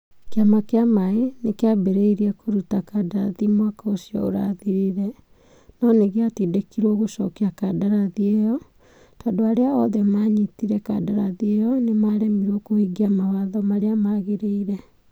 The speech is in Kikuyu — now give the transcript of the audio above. Kĩama kĩa maaĩ nĩ kĩambĩrĩirie kũruta kandarathi mwaka ũcio ũrathirire. No nĩ gĩatindĩkirũo gũcokia kandarathi ĩyo. Tondũ arĩa othe maanyitire kandarathi ĩyo nĩ maremirwo kũhingia mawatho marĩa magĩrĩire.